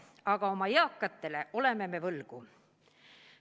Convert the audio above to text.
Aga oma eakatele me oleme võlgu.